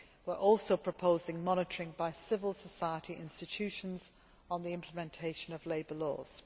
We are also proposing monitoring by civil society institutions on the implementation of labour laws.